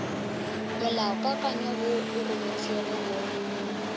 molaokakanywa wo o rometšwego go